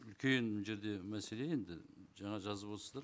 үлкен мына жерде мәселе енді жаңа жазып отырсыздар